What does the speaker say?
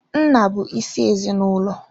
Nna bụ isi ezinaụlọ.